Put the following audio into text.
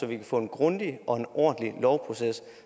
vi kan få en grundig og ordentlig lovproces